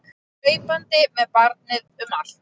Hlaupandi með barnið um allt!